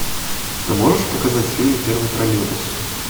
ты можешь показать фильм первый троллейбус